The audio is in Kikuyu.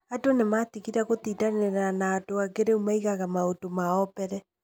Andũ nĩmatigire gũtindanĩra na andũ angĩ rĩu maigaga maũndũ mao mbere